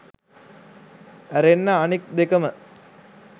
ඇරෙන්න අනික් දෙකම